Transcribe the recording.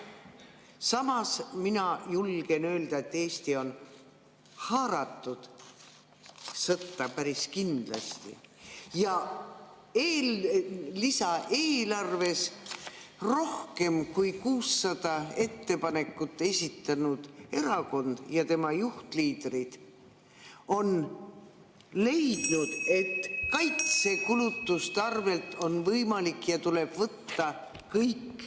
Samas mina julgen öelda, et Eesti on haaratud sõtta päris kindlasti, ja lisaeelarves rohkem kui 600 ettepanekut esitanud erakond ja tema liidrid on leidnud , et kaitsekulutuste arvelt on võimalik ja tuleb võtta kõik ...